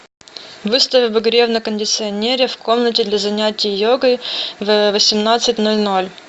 выставь обогрев на кондиционере в комнате для занятия йогой в восемнадцать ноль ноль